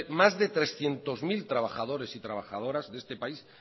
más de trescientos mil trabajadores y trabajadoras de este país